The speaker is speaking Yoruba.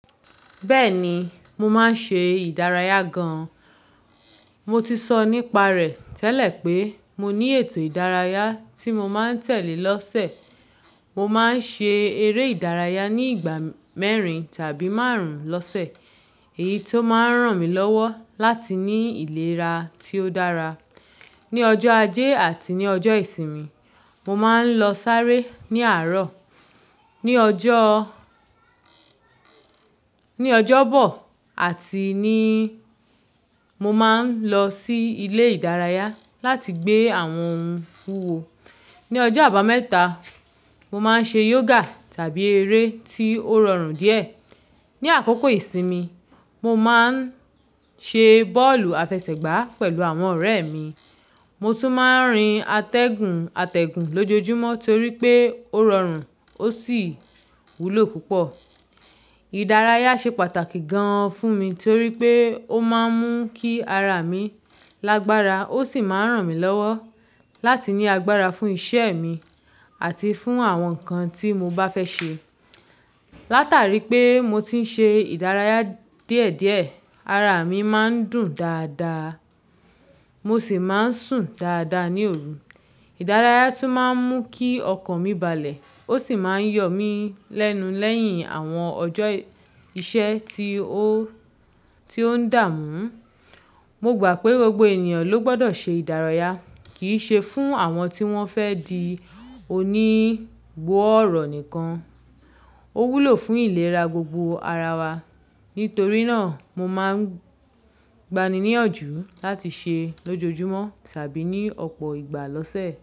Bẹ́ẹ̀ni, mo máa ń ṣe ìdárayá gan. Mo ti sọ nípa rẹ̀ tẹ́lẹ̀ pé mo ní ètò ìdárayá tí mo máa ń tẹ̀lé lọ́sẹ̀. Mo máa ń ṣe eré ìdárayá ní ìgbà mẹ́rin tàbí márùn-ún lọ́sẹ̀. Èyí tó máa ń ràn mí lọ́wọ́ láti ní ìlera tí ó dára. Ni ọjọ́ ajé àti ní ọjọ́ ìsinmi, mo máa ń lọ sáré ní àárọ̀. Ni ọjọ́, ní ọjọ́bọ àti níí, mo máa ń lọ sí ilé ìdárayá láti gbé àwọn ohun fúwo. Ni ọjọ́ àbámẹ́ta, mo máa ń ṣe yoga tàbí eré tí ó rọrùn díẹ̀. Ni àkókò ìsinmi, mo máa ń ṣe bọ́ọ̀lù àfẹsẹ̀gbá pẹ̀lú àwọn ọ̀rẹ́ mi. Mo tún máa ń rin atẹ́gùn atẹ́gùn lójoojúmọ́ torí pé ó rọrùn ó sì wúlò púpọ̀. Ìdárayá ṣe pàtàkì gan fún mi torí pé ó máa ń mú kí ara mi lágbára ó sì máa ń ràn mí lọ́wọ́ láti ní agbára fún iṣẹ́ mi àti fún àwọn nǹkan tí mo bá fẹ́ ṣe. Látàrí pé mo ti ń ṣe ìdárayá díẹ̀ díẹ̀, ara mi máa ń dùn dáadáa, mo sì máa ń sùn dáadáa ní òru. Ìdárayá tún máa ń mú kí ọkàn mi balẹ̀ ó sì máa ń yọ̀ mí lẹ́nu lẹ́yìn àwọn ọjọ́ iṣẹ́ tí ó, tí ó ń dààmú. Mo gbà pé gbogbo ènìyàn ló gbọdọ̀ ṣe ìdárayá. Kì í ṣe fún àwọn tí wọ́n fẹ́ di onígbọ̀ọ́rọ̀ nìkan. Ó wúlò fún ìlera gbogbo ara wa. Nítorí náà, mo máa ń gbaniníyọjú láti ṣe é lójoojúmọ́ tàbí ní ọ̀pọ̀ ìgbà lọ́sẹ̀.